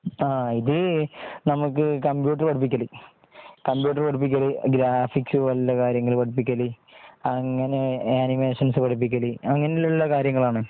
ങ്ങാ ഇത് നമുക്ക് കമ്പ്യൂട്ടർ പഠിപ്പിക്കല് ,.കമ്പ്യൂട്ടർ പഠിപ്പിക്കൽ, ഗ്രാഫിക്ക്സ് പോലുള്ള കാര്യങ്ങൾ പടിപ്പിക്കല് അങ്ങനെ ആനിമേഷൻസ് പഠിപ്പിക്കൽ അങ്ങനെയുള്ള കാര്യങ്ങൾ ആണ്